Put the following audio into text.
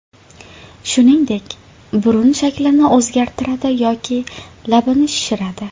Shuningdek, burun shaklini o‘zgartiradi yoki labini shishiradi.